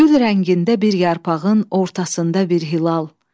Gül rəngində bir yarpağın ortasında bir hilal.